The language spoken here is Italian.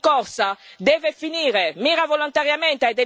Questa forsennata rincorsa deve finire